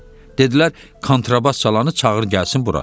Dedilər kontrabas çalanı çağır gəlsin bura.